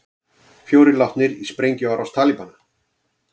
Fjórir látnir í sprengjuárás Talibana